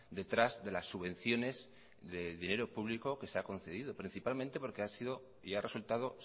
detrás de las subvenciones de dinero público que se ha concedido principalmente porque ha sido y ha resultado